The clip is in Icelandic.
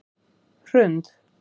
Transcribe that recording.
Hrund